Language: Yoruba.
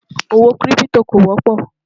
owó kírìpitò kò wópò